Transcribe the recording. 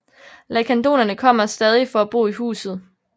Lacandonerne kommer stadig for at bo i huset